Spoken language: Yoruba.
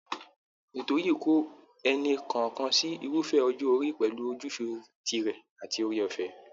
Ètò yìí kó ẹnì kọ̀ọ̀kan sí irúfẹ́ ọjọ́ orí pẹ̀lú ojúṣe tirẹ̀ àti oore ọ̀fẹ́